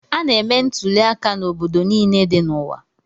A na-eme ntuliaka n'obodo niile dị n'ụwa